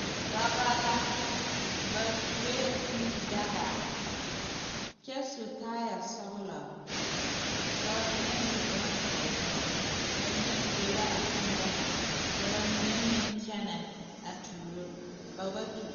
Dɔba la ba tuoe kûû daga kyɛ su kaayɛ sɔgelɔ ka ba mike su bonzeere ba mine tuo la a kûû daga ka ba mine meŋ kyɛnɛ a tuuro ba ba tuo